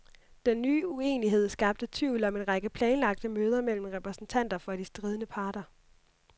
Den nye uenighed skabte tvivl om en række planlagte møder mellem repræsentanter for de stridende parter.